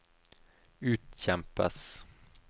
utkjempes